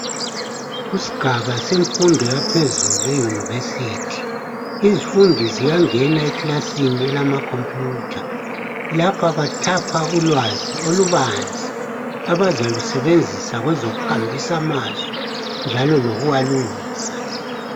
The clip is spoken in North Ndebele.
Kusigaba semfundo yaphezulu e university izifundi ziyangena ekilasini elama computer lapha bathapha kulolwazi olubanzi abazalusebenzisa kwezokuhambisa amazwi njalo lokuwalungisa